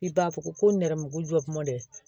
I b'a fɔ ko nɛrɛmuguma jɔ mɔndɛ